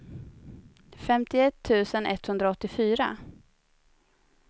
femtioett tusen etthundraåttiofyra